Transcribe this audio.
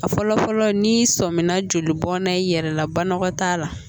A fɔlɔ fɔlɔ n'i sɔmina joli bɔnna i yɛrɛ la banakɔtaa la